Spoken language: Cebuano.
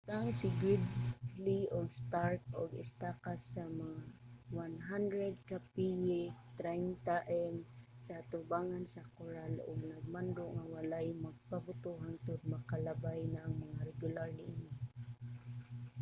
nagbutang si gridley o stark og estaka mga 100 ka piye 30 m sa atubangan sa koral ug nagmando nga walay magpabuto hangtod makalabay na ang mga regular niini